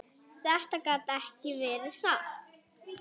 Þetta gat ekki verið satt.